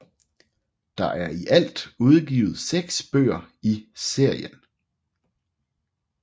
Der er i alt udgivet 6 bøger i serien